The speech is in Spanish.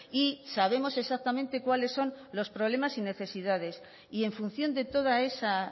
y sabemos exactamente cuáles son los problemas y necesidades y en función de toda esa